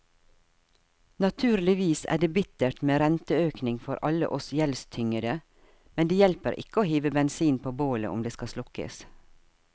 Naturligvis er det bittert med renteøkning for alle oss gjeldstyngede, men det hjelper ikke å hive bensin på bålet om det skal slukkes.